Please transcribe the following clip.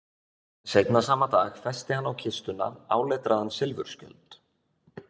Seinna sama dag festi hann á kistuna áletraðan silfurskjöld.